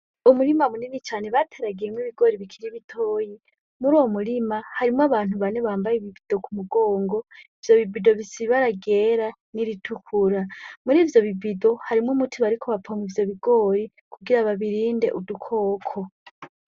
Umurima munini cane bateragiyemwo ibigori bikiri ibitoyi muri uwo murima harimwo abantu bane bambaye ibibido ku mugongo ivyo bibido bisibaragera n'iritukura muri ivyo bibido harimwo umutibariko bapomwa ivyo bigori kugira ababirinde udukoko.